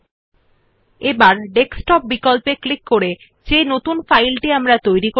এখন ডায়লগ বাক্সের ডেস্কটপ বিকল্প এ ক্লিক করে নতুন যে ডকুমেন্টটি তৈরী হয়েছে সেটিত়ে যান